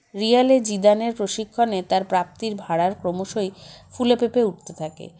রিয়ালে জিদানে প্রশিক্ষণে তার প্রাপ্তির ভাড়ার ক্রমশই ফুলেফেঁপে উঠতে থাকে